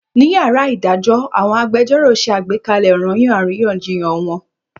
Ní yàrá ìdájọ́ àwọn agbẹjẹ́rọ̀ ṣe àgbékalẹ̀ ọranyan àríyànjiyàn wọn.